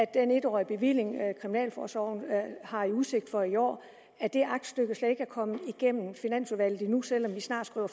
den en årige bevilling kriminalforsorgen har i udsigt for i år er det aktstykke slet ikke kommet igennem finansudvalget endnu selv om vi snart skriver